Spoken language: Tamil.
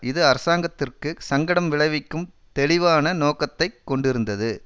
இது அரசாங்கத்திற்கு சங்கடம் விளைவிக்கும் தெளிவான நோக்கத்தை கொண்டிருந்தது